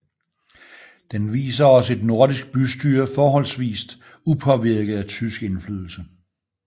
Den viser os et nordisk bystyre forholdsvist upåvirket af tysk indflydelse